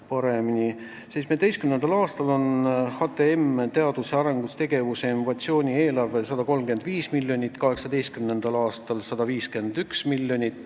2017. aastal oli HTM-i teadus- ja arendustegevuse ning innovatsiooni eelarve 135 miljonit ja 2018. aastal 151 miljonit.